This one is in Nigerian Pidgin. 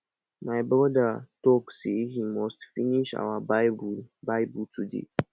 my brother talk say he must finish our bible bible toda